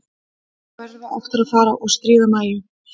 Þá verðum við aftur að fara að stríða Mæju.